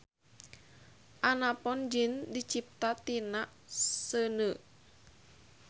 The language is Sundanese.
Anapon jin dicipta tina seuneu.